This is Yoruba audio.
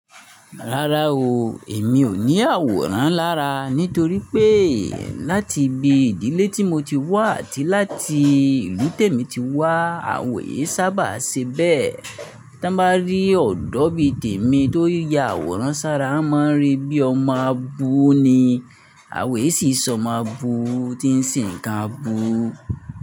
Rárá o, èmi ò ní àwòrán lára nítorí pé láti ibi ìdílé tí mo ti wá àti láti ìlú tèmi ti wá àwèé sábà ṣe bẹ́ẹ̀. Tí bá rí ọ̀dọ́ bí tèmi tó ya àwòrán sára, a máa rí bí ọmọ á bu ni, àwèé sì sọ ma bu tí ń se ń ka bu.